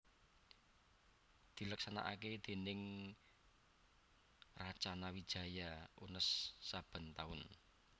dileksanakaké déning Racana Wijaya Unnes saben taun